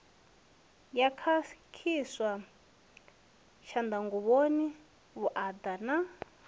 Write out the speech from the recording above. sa khakhiswa tshanḓanguvhoni vhuaḓa na